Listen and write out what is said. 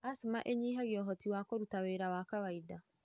Asthma ĩnyihagia ũhoti wa kũruta wĩra wa kawainda.